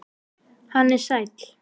Hann er sæll.